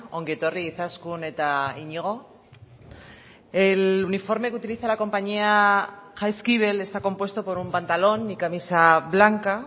ongi etorri izaskun eta iñigo el uniforme que utiliza la compañía jaizkibel está compuesto por un pantalón y camisa blanca